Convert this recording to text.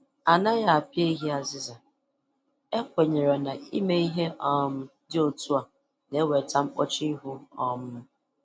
Anaghị apịa ehi azịza, e kwenyere na ime kwenyere na ime ihe um dị otu a na-eweta mkpọchu ihu um